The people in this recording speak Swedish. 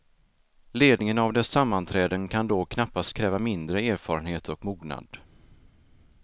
Ledningen av dess sammanträden kan då knappast kräva mindre erfarenhet och mognad.